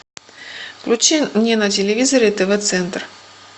включи мне на телевизоре тв центр